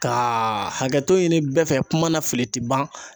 Kaaa hakɛto ɲini bɛɛ fɛ kuma na fili ti ban.